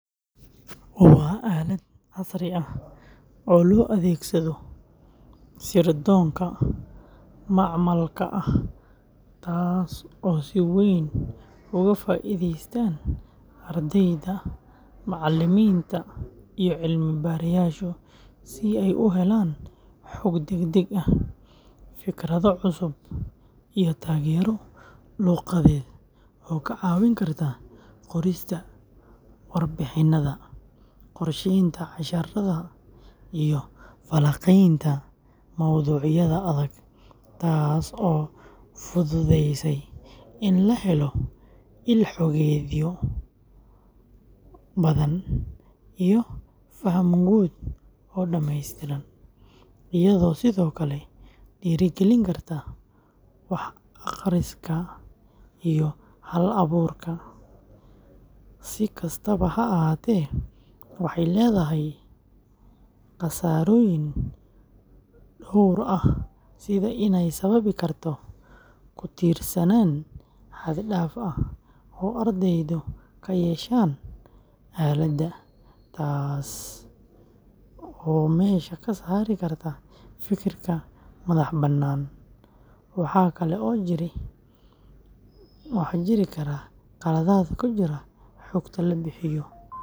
Waa aalad casri ah oo loo adeegsado sirdoonka macmalka ah taas oo si weyn uga faa’iidaystaan ardayda, macallimiinta iyo cilmi-baarayaashu si ay u helaan xog degdeg ah, fikrado cusub, iyo taageero luqadeed oo ka caawin karta qorista warbixinada, qorsheynta casharrada iyo falanqaynta mowduucyada adag, taas oo fududeysa in la helo il-xogeedyo badan iyo faham guud oo dhameystiran, iyadoo sidoo kale dhiirrigelin karta wax akhriska iyo hal-abuurka; si kastaba ha ahaatee, waxay leedahay khasaarooyin dhowr ah sida in ay sababi karto ku tiirsanaan xad-dhaaf ah oo ardaydu ka yeeshaan aaladda, taasoo meesha ka saari karta fikirka madax-bannaan, waxaa kale oo jiri kara khaladaad ku jira xogta la bixiyo.